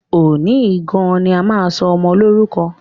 Òní yìí gan-an ni a máa sọ ọmọ Lórúkọ!